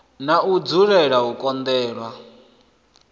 na u dzulela u kolelwa